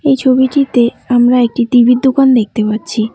এই ছবিটিতে আমরা একটি টি_ভি -র দোকান দেখতে পাচ্ছি।